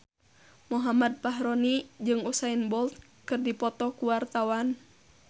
Muhammad Fachroni jeung Usain Bolt keur dipoto ku wartawan